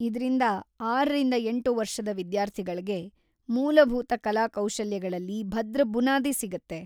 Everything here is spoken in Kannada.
ಇದ್ರಿಂದ ಆರರಿಂದ ಎಂಟು ವರ್ಷದ ವಿದ್ಯಾರ್ಥಿಗಳ್ಗೆ ಮೂಲಭೂತ ಕಲಾ ಕೌಶಲ್ಯಗಳಲ್ಲಿ ಭದ್ರ ಬುನಾದಿ ಸಿಗುತ್ತೆ.